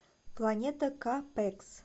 планета ка пэкс